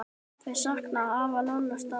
Þau sakna afa Lolla sárt.